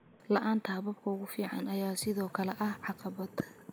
La'aanta hababka ugu fiican ayaa sidoo kale ah caqabad.